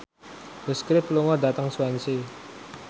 The Script lunga dhateng Swansea